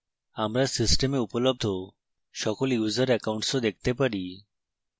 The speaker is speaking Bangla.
আমরা system উপলব্ধ সকল user accounts ও দেখতে পারি